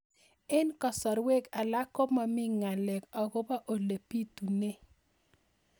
Eng' kasarwek alak ko mami ng'alek akopo ole pitunee